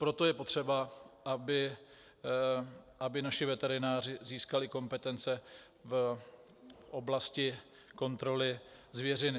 Proto je potřeba, aby naši veterináři získali kompetence v oblasti kontroly zvěřiny.